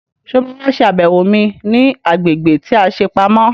Sọ má wá ṣe àbẹ̀wò mi ní agbègbè tí a ṣe pamọ́?